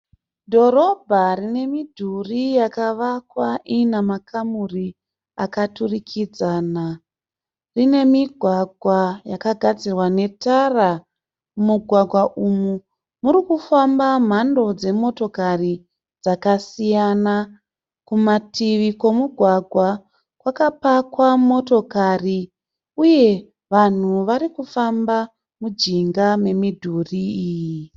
Dhorobha rine midhuri yakavakwa ina makamuri akaturikidzana. Rine migwagwa yakagadzirwa netara. Mumugwagwa umu muri kufamba mhando dzemotokari dzakasiyana. Kumativi kwomugwagwa kwakapakwa motokari uye vanhu vari kufamba mujinga memidhuri iyi.